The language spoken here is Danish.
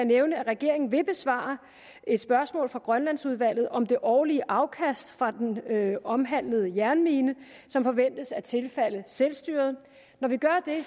nævne at regeringen vil besvare et spørgsmål fra grønlandsudvalget om det årlige afkast fra den omhandlede jernmine som forventes at tilfalde selvstyret når vi gør det